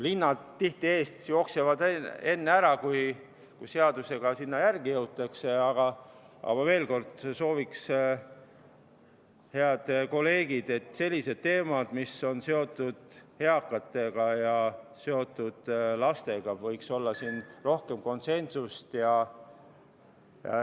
Hinnad jooksevad küll tihti enne eest ära, kui seadusega sinna järele jõutakse, aga ma veel kord sooviksin, head kolleegid, et selliste teemade puhul, mis on seotud eakate ja lastega, võiks siin olla rohkem konsensust.